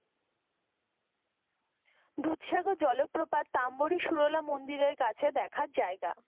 দুধসাগর জলপ্রপাত তাম্বরী শুরলা মন্দিরের কাছে দেখার জায়গা।